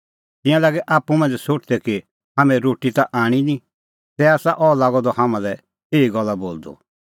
तिंयां लागै आप्पू मांझ़ै सोठदै कि हाम्हैं रोटी ता आणी निं तै आसा अह लागअ द हाम्हां लै एही गल्ला बोलदअ